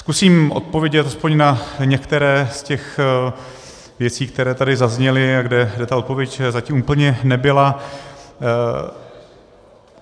Zkusím odpovědět aspoň na některé z těch věcí, které tady zazněly a kde ta odpověď zatím úplně nebyla.